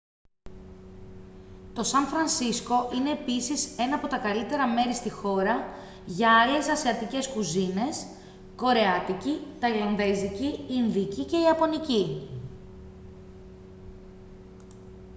το σαν φρανσίσκο είναι επίσης ένα από τα καλύτερα μέρη στη χώρα για άλλες ασιατικές κουζίνες κορεάτικη ταϊλανδέζικη ινδική και ιαπωνική